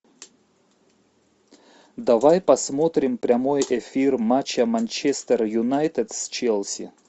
давай посмотрим прямой эфир матча манчестер юнайтед с челси